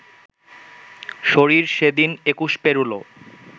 শরীর সেদিন একুশ পেরোলো